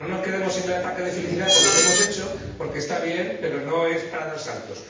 No nos quedemos en el ataque de felicidad por lo que hemos hecho, porque está bien, pero no es para dar saltos.